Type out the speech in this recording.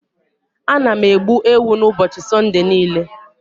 Ana m egbu ewu n'ụbọchị Sunday niile.